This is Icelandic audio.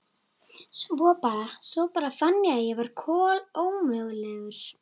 Svo bara. svo bara fann ég að ég var kolómögulegur.